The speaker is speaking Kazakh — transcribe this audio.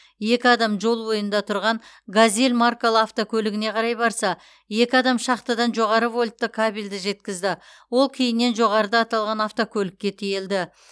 екі адам жол бойында тұрған газель маркалы автокөлігіне қарай барса екі адам шахтадан жоғары вольтты кабелді жеткізді ол кейіннен жоғарыда аталған автокөлікке тиелді